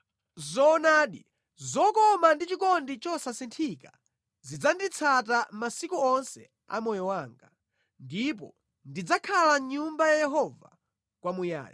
Zoonadi, zokoma ndi chikondi chosasinthika zidzanditsata masiku onse a moyo wanga, ndipo ndidzakhala mʼNyumba ya Yehova kwamuyaya.